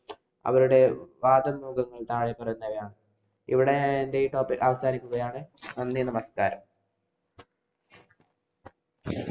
അവരുടെ വാദം മൂലമുണ്ടായ ഫലങ്ങളാണ്. ഇവിടെ എന്‍റെ ഈ topic അവസാനിപ്പിക്കുകയാണ്. നന്ദി, നമസ്കാരം.